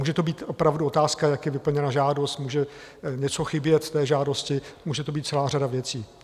Může to být opravdu otázka, jak je vyplněna žádost, může něco chybět v té žádosti, může to být celá řada věcí.